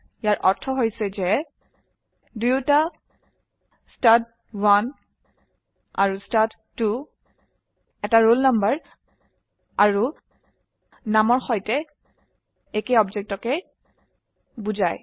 ইয়াৰ অৰ্থ উভয় ষ্টাড1 আৰু ষ্টাড2 একটি ৰোল নম্বৰ নামৰ সৈতে একেই অবজেক্টকে বোঝায়